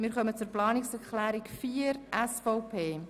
Wir kommen zur Planungserklärung 4 der SVP.